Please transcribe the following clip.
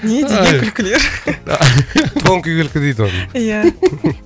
не деген күлкілер тонкий күлкі дейді оны ия